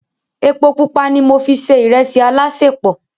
Epo pupa ni mo fi se ìrẹsì alásèpọ̀.